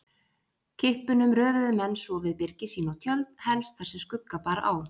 Kippunum röðuðu menn svo við byrgi sín og tjöld, helst þar sem skugga bar á.